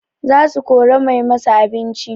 Za su kora mai masu abinci